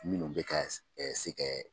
Minnu bɛ ka se kɛ